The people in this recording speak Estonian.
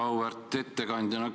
Auväärt ettekandja!